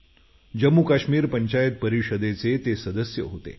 जम्मूकाश्मीर पंचायत परिषदेचे ते सदस्य होते